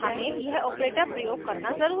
हमे यह operator प्रयोग करना ज़रूरी है